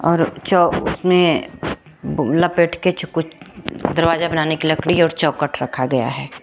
और जो उसमें ब लपेट के च कुछ दरवाजा बनाने की लकड़ी और चौखट रखा गया है।